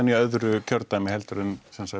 í öðru kjördæmi en